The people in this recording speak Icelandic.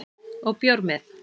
Og bjór með